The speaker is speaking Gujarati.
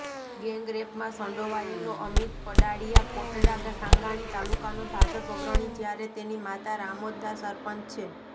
ગેંગરેપમાં સંડોવાયેલો અમિત પડાળીયા કોટડા સાંગણી તાલુકાનો ભાજપ અગ્રણી જ્યારે તેની માતા રામોદના સરપંચ છે